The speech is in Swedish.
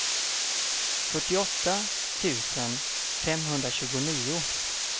fyrtioåtta tusen femhundratjugonio